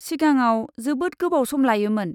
सिगाङाव, जोबोद गोबाव सम लायोमोन।